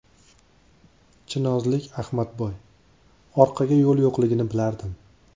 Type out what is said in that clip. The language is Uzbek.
Chinozlik Ahmadboy: Orqaga yo‘l yo‘qligini bilardim.